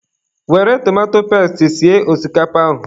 Were tomato pesti sie osikapa ahụ.